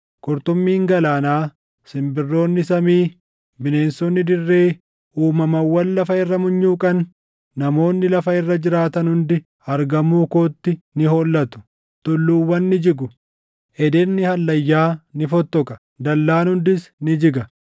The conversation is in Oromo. Qurxummiin galaanaa, simbirroonni samii, bineensonni dirree, uumamawwan lafa irra munyuuqan, namoonni lafa irra jiraatan hundi argamuu kootti ni hollatu. Tulluuwwan ni jigu; ededni hallayyaa ni fottoqa; dallaan hundis ni jiga.